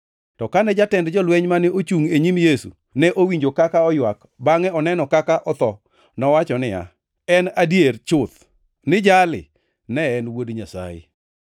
To kane jatend jolweny mane ochungʼ e nyim Yesu ne owinjo kaka oywak bangʼe oneno kaka otho, nowacho niya, “En adier chuth ni jali ne en Wuod Nyasaye!”